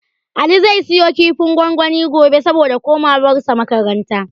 Ali zai siyo kifin gwangwani gobe, saboda komawarsa makaranta.